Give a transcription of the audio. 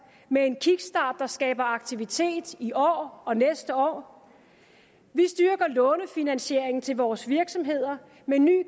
med en kickstart der skaber aktivitet i år og til næste år vi styrker lånefinansiering til vores virksomheder med ny